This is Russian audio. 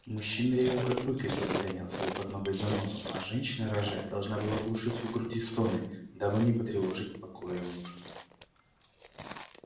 мужчина ревел как бык если загонял себе под ноготь занозу а женщина рожая должна была глушить в груди стоны дабы не потревожить покоя мужа